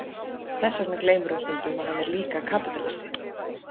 Þess vegna gleymir hún stundum að hann er líka kapítalisti.